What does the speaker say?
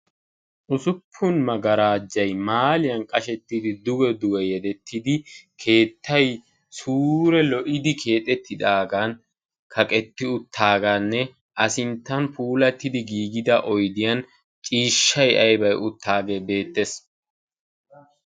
Usuppun magarajay maaliyan qashettidi duge duge yedetridagan keettay sure lo'idi keexettidagan kaqetti uttidaganne a sinttan puulattidi giigida oydiyan ciishshay aybay uttage beettees.